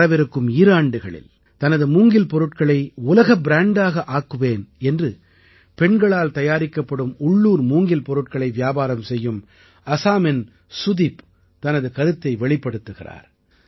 வரவிருக்கும் ஈராண்டுகளில் தனது மூங்கில் பொருட்களை உலக ப்ராண்டாக ஆக்குவேன் என்று பெண்களால் தயாரிக்கப்படும் உள்ளூர் மூங்கில் பொருட்களை வியாபாரம் செய்யும் ஆஸாமின் சுதிப் தனது கருத்தை வெளிப்படுத்துகிறார்